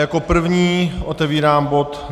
Jako první otevírám bod